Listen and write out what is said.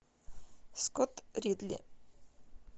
скотт ридли